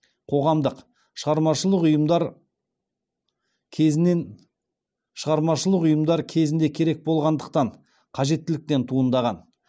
қоғамдық шығармашылық ұйымдар кезінде керек болғандықтан қажеттіліктен туындаған